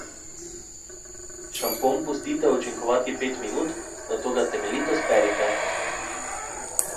Šampon pustite učinkovati pet minut, nato ga temeljito sperite.